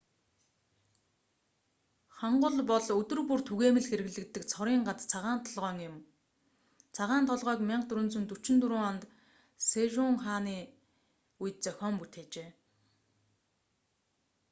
хангул бол өдөр бүр түгээмэл хэрэглэгддэг цорын ганц цагаан толгойн юм. цагаан толгойг 1444 онд сэжун хааны 1418 - 1450 үед зохион бүтээжээ